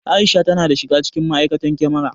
Aisha ta shiga cikin ma'aikatan kyamara